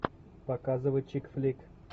показывай чикфлик